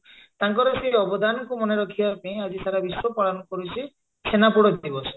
ତାଙ୍କର ସେଇ ଅବଦାନକୁ ମନେ ରଖିବା ପାଇଁ ଆଜି ସାରା ବିଶ୍ଵ ପାଳନ କରୁଛି ଛେନାପୋଡ ଦିବସ